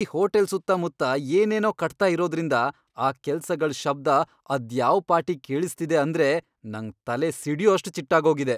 ಈ ಹೋಟೆಲ್ ಸುತ್ತಮುತ್ತ ಏನೇನೋ ಕಟ್ತಾ ಇರೋದ್ರಿಂದ ಆ ಕೆಲ್ಸಗಳ್ ಶಬ್ದ ಅದ್ಯಾವ್ ಪಾಟಿ ಕೇಳಿಸ್ತಿದೆ ಅಂದ್ರೆ ನಂಗ್ ತಲೆ ಸಿಡ್ಯೋಷ್ಟ್ ಚಿಟ್ಟಾಗೋಗಿದೆ.